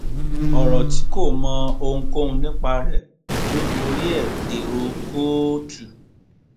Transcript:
ọrọ tí kò mọ ohunkóhun nípa rẹ ló torí ẹ dèrò kóòtù